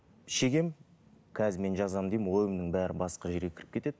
шегемін қазір мен жазамын деймін ойымның бәрі басқа жерге кіріп кетеді